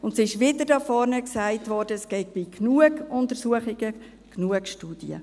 Und es wurde hier vorne wieder gesagt, es gebe genug Untersuchungen, genug Studien.